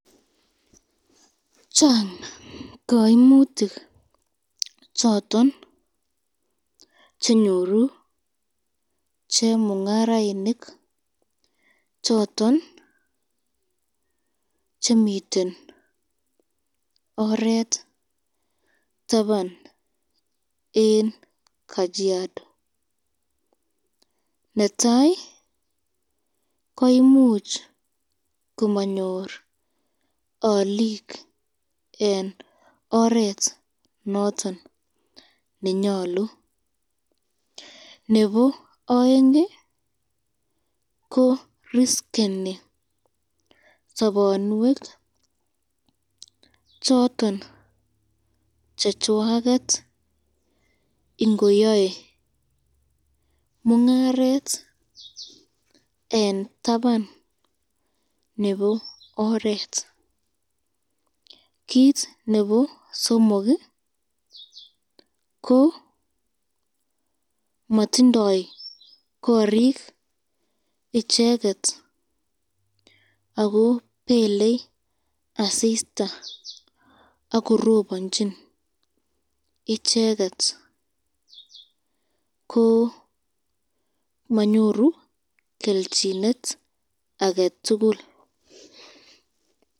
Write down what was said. Chang kaimutik choton chenyoru chemungarainik choton chemiten oret taban eng kajiado